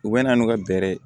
U bɛ na n'u ka bɛrɛ ye